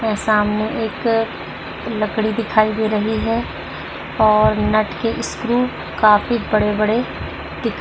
और सामने एक लकड़ी दिखाई दे रही है और नट के स्क्रू काफी बड़े बड़े दिखा --